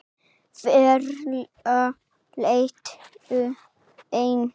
Varla lent enn.